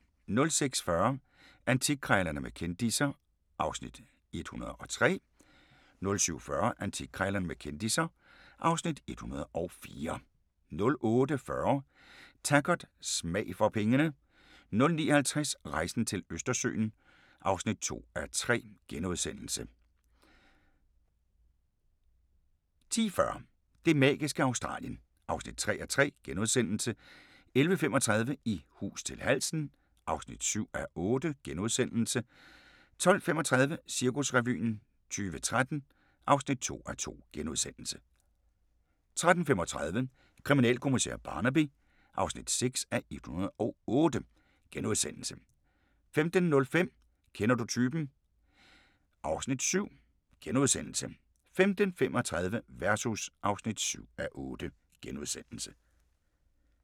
06:40: Antikkrejlerne med kendisser (Afs. 103) 07:40: Antikkrejlerne med kendisser (Afs. 104) 08:40: Taggart: Smag for penge 09:50: Rejsen til Østersøen (2:3)* 10:40: Det magiske Australien (3:3)* 11:35: I hus til halsen (7:8)* 12:35: Cirkusrevyen 2013 (2:2)* 13:35: Kriminalkommissær Barnaby (6:108)* 15:05: Kender du typen? (Afs. 7)* 15:35: Versus (7:8)*